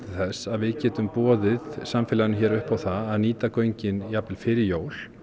þess að við getum boðið samfélaginu hér upp á það að nýta göngin jafnvel fyrir jól